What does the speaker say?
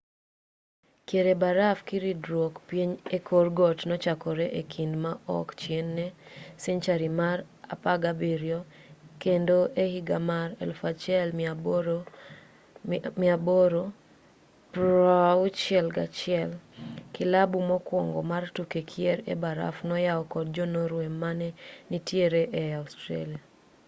kier e baraf kiridruok piny e kor got nochakore e kinde ma ok chien ne senchari mar 17 kendo e higa mar 1861 kilabu mokwongo mar tuke kier e baraf noyaw kod jo-norway mane nitiere ei australia